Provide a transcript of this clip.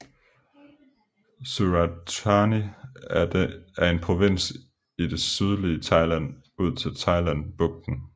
Surat Thani er en provins i det sydlige Thailand ud til Thailandbugten